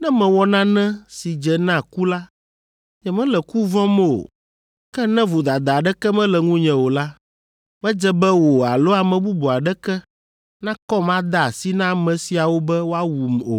Ne mewɔ nane si dze na ku la, nyemele ku vɔ̃m o. Ke ne vodada aɖeke mele ŋunye o la, medze be wò alo ame bubu aɖeke nakɔm ade asi na ame siawo be woawum o.